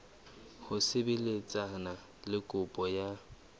ho sebetsana le kopo ya